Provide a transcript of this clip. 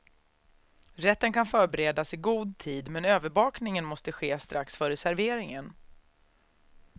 Rätten kan förberedas i god tid men överbakningen måste ske strax före serveringen.